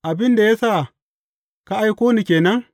Abin da ya sa ka aiko ni ke nan?